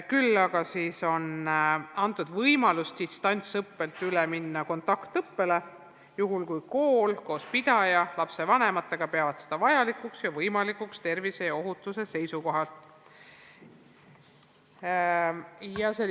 Küll aga on antud võimalus minna distantsõppelt üle kontaktõppele, juhul kui kool koos pidaja ja lapsevanematega peavad seda vajalikuks ning tervise ja ohutuse seisukohalt võimalikuks.